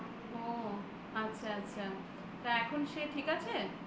ও আচ্ছা আচ্ছা তা এখন সে ঠিক আছে?